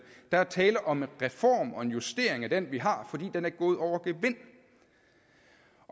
der er tale om en reform og en justering af den vi har fordi den er gået over gevind